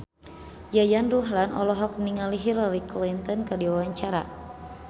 Yayan Ruhlan olohok ningali Hillary Clinton keur diwawancara